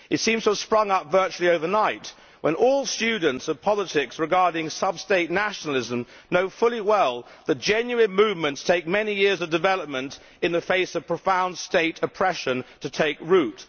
It seems to have sprung up virtually overnight, when all students of politics regarding sub state nationalism know full well that genuine movements need many years of development, in the face of profound state oppression, to take root.